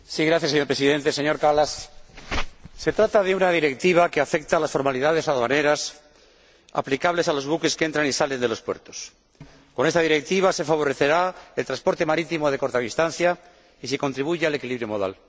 Señor Presidente, señor Kallas, se trata de una Directiva que afecta a las formalidades aduaneras aplicables a los buques que entran y salen de los puertos y con la que se favorecerá el transporte marítimo de corta distancia y se contribuirá al equilibrio modal.